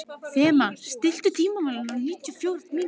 Fema, stilltu tímamælinn á níutíu og fjórar mínútur.